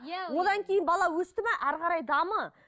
иә одан кейін бала өсті ме ары қарай дамы